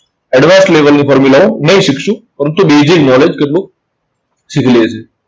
advance level ની ફોર્મ્યુલાઓ નહિ શીખશું. ફક્ત basic knowledge જેટલું શીખી લેશું.